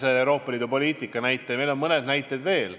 Te tõite Euroopa Liidu poliitika arutelu näite ja meil on mõned näited veel.